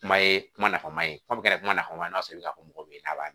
Kuma ye kuma nafama ye fɔ kɛra kumaba ye n'a sɔrɔ i bɛ na fɔ mɔgɔ ye a b'a